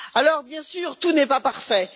Alors bien sûr, tout n'est pas parfait.